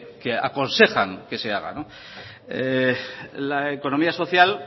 que aconsejan que se haga la economía social